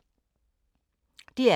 DR K